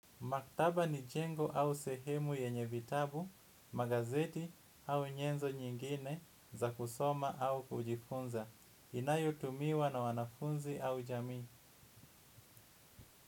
Maktaba ni jengo au sehemu yenyevitabu, magazeti au nyenzo nyingine za kusoma au kujifunza. Inayotumiwa na wanafunzi au jami.